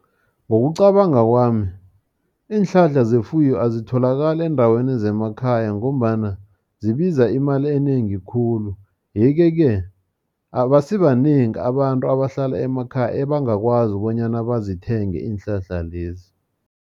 Ngokucabanga kwami, iinhlahla zefuyo azitholakali eendaweni zemakhaya, ngombana zibiza imali enengi khulu. Yeke-ke, abasibanengi abantu abahlala emakhaya ebangakwazi bonyana bazithenge iinhlahla lezi.